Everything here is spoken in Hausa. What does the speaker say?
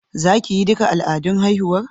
Za ki yi duka al'adun haihuwar?